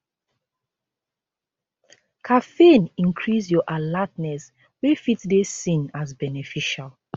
caffeine increase your alertness wey fit dey seen as beneficial